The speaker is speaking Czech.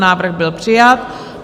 Návrh byl přijat.